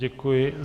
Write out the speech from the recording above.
Děkuji.